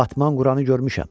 Batman Quranı görmüşəm.